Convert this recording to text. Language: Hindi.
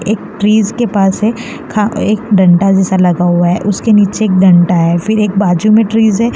एक ट्रिज के पास है खा एक डंडा जैसा लगा हुआ है उसके नीचे एक डंडा है फिर एक बाजू में ट्रिज है।